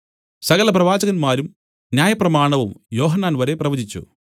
സകല പ്രവാചകന്മാരും ന്യായപ്രമാണവും യോഹന്നാൻ വരെ പ്രവചിച്ചു